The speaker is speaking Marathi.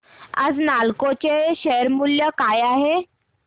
आज नालको चे शेअर मूल्य काय आहे